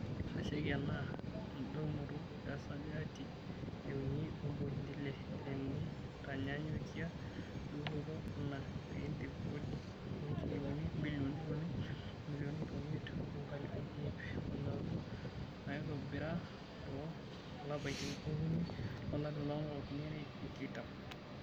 itasheki ena edounoto esajati e uni opointi ile tenitanyanyukia dupoto enaa piidip kodi o njilingini ibilioni uni o milioni iip omiet o ngalifuni iip onaudo naitobira too lapaitin okuni lolari loo nkalifuni are o tikitam.